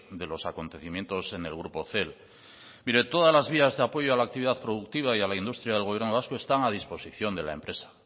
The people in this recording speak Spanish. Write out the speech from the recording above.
de los acontecimientos en el grupo cel mire todas las vías de apoyo a la actividad productiva y a la industria del gobierno vasco están a disposición de la empresa